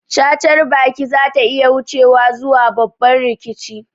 Cacar baki zata iya wucewa zuwa babban rikici